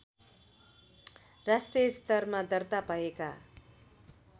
राष्ट्रिय स्तरमा दर्ताभएका